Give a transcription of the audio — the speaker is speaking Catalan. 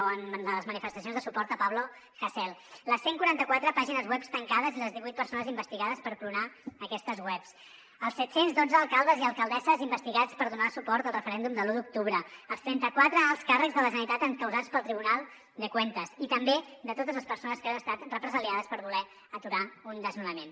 o en les manifestacions de suport a pablo hasél les cent i quaranta quatre pàgines webs tancades i les divuit persones investigades per clonar aquestes webs els set cents i dotze alcaldes i alcaldesses investigats per donar suport al referèndum de l’u d’octubre els trenta quatre alts càrrecs de la generalitat encausats pel tribunal de cuentas i també de totes les persones que han estat represaliades per voler aturar un desnonament